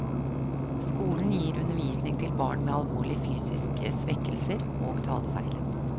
Skolen gir undervisning til barn med alvorlige fysiske svekkelser og talefeil.